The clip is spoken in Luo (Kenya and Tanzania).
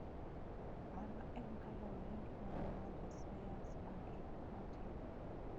Mano en kaluwore gi nonro ma josayans maggi notimo.